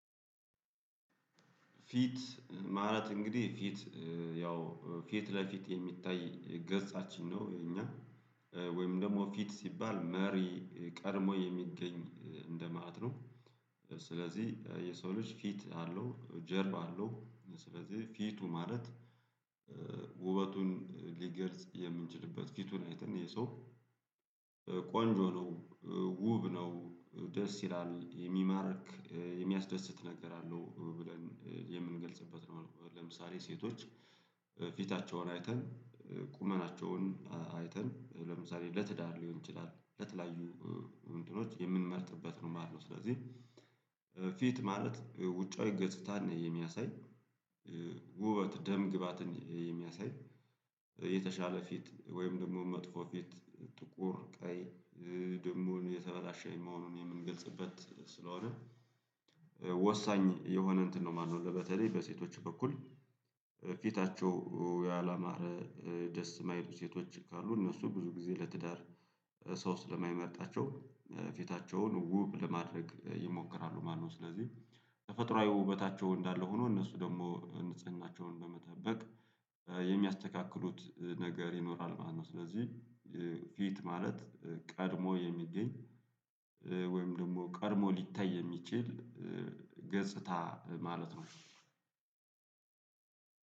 ፊት ማለት እንግዲህ ፊት ያው ፊት ለፊት የሚታይ ገጻችን ነው እኛ ወይም ደግሞ ፊት ሲባል መሪ ቀድሞ የሚገኝ እንደማለት ነው። ስለዚህ የሰው ልጅ ፊት አለው ጀርባ አለው ስለዚህ ፊቱ ማለት ውበቱን ሊገልጽ የምንችልበት ፊቱን አይተን የሰው ቆንጆ ነው ውብ ነው ደስ ይላል የሚማርክ የሚያስደስት ነገር አለው ብለን የምንገልጽበት ነው። ለምሳሌ ሴቶች ፊታቸውን አይተን ቁመናቸውን አይተን ለምሳሌ ለትዳር ሊሆን ይችላል ለተለያዩ እንትኖች የምንመርጥበት ነው ማለት ነው። ስለዚህ ፊት ማለት ውጫዊ ገጽታን የሚያሳይ ውበት ደም ግባትን የሚያሳይ የተሻለ ፊት ወይም ደግሞ መጥፎ ፊት ጥቁር ቀይ ደግሞ የተበላሸ መሆኑን የምንገልጽበት ስለሆነ ወሳኝ የሆነ እንትን ነው ማለት ነው። በተለይ በሴቶች በኩል ፊታቸው ያላማረ ደስ የማይሉ ሴቶች ካሉ እነሱ ብዙ ጊዜ ለትዳር ሰው ስለማይመርጣቸው ፊታቸውን ውብ ለማድረግ ይሞክራሉ ማለት ነው። ስለዚህ ተፈጥሮአዊ ውበታቸው እንዳለ ሆኖ እነሱ ደግሞ ንጽህናቸውን በመጠበቅ የሚያስተካክሉት ነገር ይኖራል ማለት ነው። ስለዚህ ፊት ማለት ቀድሞ የሚገኝ ወይም ደግሞ ቀድሞ ሊታይ የሚችል ገጽታ ማለት ነው።